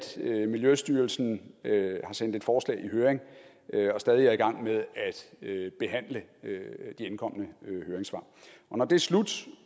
miljøstyrelsen har sendt et forslag i høring og stadig er i gang med at behandle de indkomne høringssvar og når det er slut